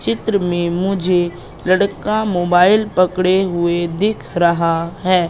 इस चित्र में मुझे लड़का मोबाइल पकड़े हुए दिख रहा है।